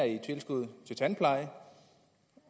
i tilskuddet til tandpleje